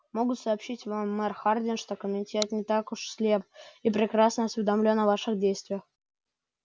могу сообщить вам мэр хардин что комитет не так уж слеп и прекрасно осведомлен о ваших действиях